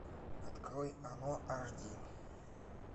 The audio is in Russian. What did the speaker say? открой оно аш ди